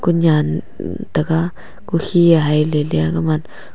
kunyan uh taga khukhi ye hai leyleya gaman--